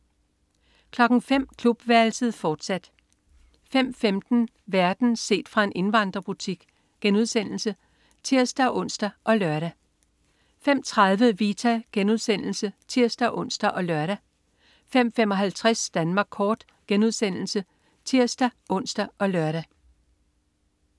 05.00 Klubværelset, fortsat 05.15 Verden set fra en indvandrerbutik* (tirs-ons og lør) 05.30 Vita* (tirs-ons og lør) 05.55 Danmark kort* (tirs-ons og lør)